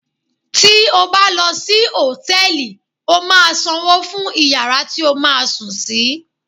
Tí o bá lò sí Hòtẹ́lìì, o máa sanwó fún iyàrá tí o máa sùn sí